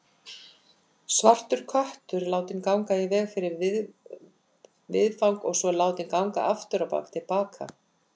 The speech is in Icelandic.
Svartur köttur látinn ganga í veg fyrir viðfang og svo látinn ganga afturábak til baka.